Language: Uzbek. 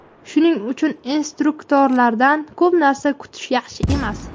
Shuning uchun instruktorlardan ko‘p narsa kutish yaxshi emas.